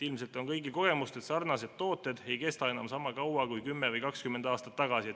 Ilmselt on kõigil kogemust, et tooted ei kesta enam niisama kaua kui 10 või 20 aastat tagasi.